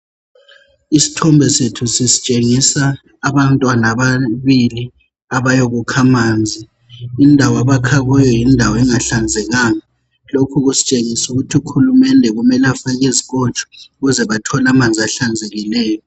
Isithombe sethu sisitshengisa abantwana ababili abayakukha amanzi. lndawo abakha kuyo yindawo engahlanzekanga. Lokhu kusitshengisa ukuthi ukhulumende kumele afake izikotsho. Ukuze bathole amanzi ahlanzekileyo.